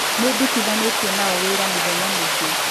Nĩndutithanĩtie na o wĩra mĩthenya mĩingĩ